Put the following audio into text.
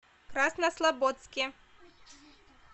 краснослободске